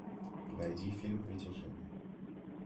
найди фильм притяжение